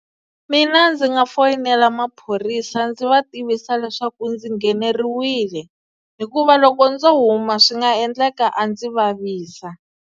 Mina ndzi nga foyinela maphorisa ndzi va tivisa leswaku ndzi ngheneriwile hikuva loko ndzo huma swi nga endleka a ndzi vavisa.